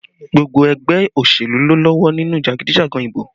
Gbogbo ẹgbẹ́ òṣèlú ló lọ́wọ́ nínú jagidijagan ìbò